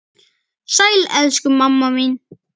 Sæl, elsku mamma mín.